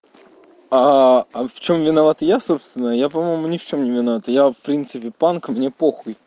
а в чём виноват я собственно я по-моему ни в чём не виноват я в принципе панк мне похуй